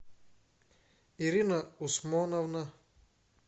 ирина усмановна